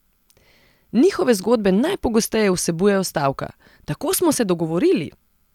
Njihove zgodbe najpogosteje vsebujejo stavka: "Tako smo se dogovorili!